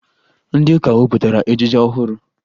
Ndị ụka mepụtara ejije ọhụrụ